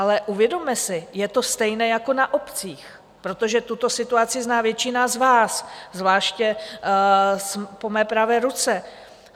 Ale uvědomme si - je to stejné jako na obcích, protože tuto situaci zná většina z vás, zvláště po mé pravé ruce.